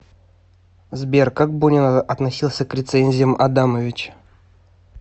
сбер как бунин относился к рецензиям адамовича